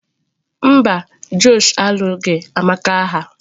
Mba, Josh alụghị Amaka agha